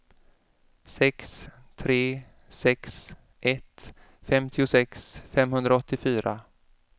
sex tre sex ett femtiosex femhundraåttiofyra